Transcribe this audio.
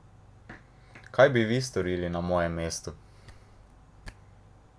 Kaj bi vi storili na mojem mestu?